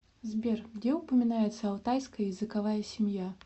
сбер где упоминается алтайская языковая семья